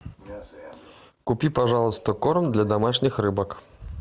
купи пожалуйста корм для домашних рыбок